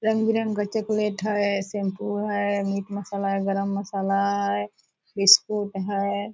रंग-बिरंगी का चॉकलेट है शैंपू है मीट मसाला है गरम मसाला है बिस्कुट है।